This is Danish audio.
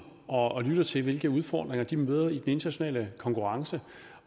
og lytter til hvilke udfordringer de møder i den internationale konkurrence